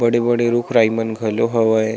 बड़े-बड़े रुख राई मन घलो हवय।